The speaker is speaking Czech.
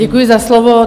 Děkuji za slovo.